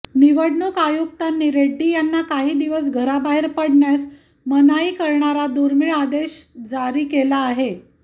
निवडणूक आयुक्तांनी रेड्डी यांना काही दिवस घराबाहेर पडण्यास मनाई करणारा दुर्मिळ आदेश जारी केला आहे